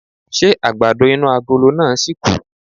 Ṣé àgbàdo inú agolo náà ṣìkù?